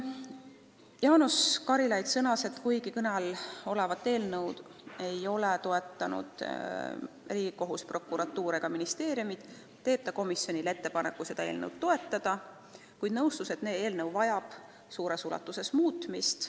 Jaanus Karilaid sõnas, et kuigi kõne all olevat eelnõu ei ole toetanud Riigikohus, prokuratuur ega ministeeriumid, teeb ta komisjonile ettepaneku eelnõu toetada, kuid nõustus, et see vajab suures ulatuses muutmist.